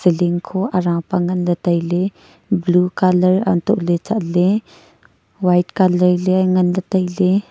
lingkho arah pa nganley tailey blue colour antole chatley white colour ley nganley tailey.